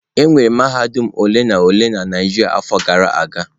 Enwere mahadum ole na ole na Naijiria afọ gara aga.